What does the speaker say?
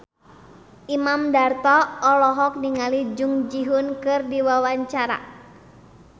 Imam Darto olohok ningali Jung Ji Hoon keur diwawancara